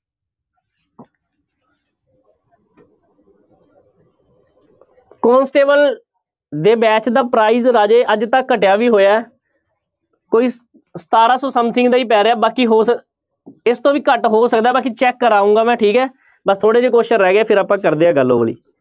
Constable ਦੇ batch ਦਾ price ਰਾਜੇ ਅੱਜ ਤਾਂ ਘਟਿਆ ਵੀ ਹੋਇਆ ਹੈ ਕੋਈ ਸਤਾਰਾਂ ਸੌ something ਦਾ ਹੀ ਪੈ ਰਿਹਾ ਬਾਕੀ ਹੋ ਸ~ ਇਸ ਤੋਂ ਵੀ ਘੱਟ ਹੋ ਸਕਦਾ ਬਾਕੀ check ਕਰਵਾਊਂਗਾ ਮੈਂ ਠੀਕ ਹੈ ਬਸ ਥੋੜ੍ਹੇ ਜਿਹੇ question ਰਹਿ ਗਏ ਆ ਫਿਰ ਆਪਾਂ ਕਰਦੇ ਹਾਂ ਗੱਲ ਉਹ ਵਾਲੀ।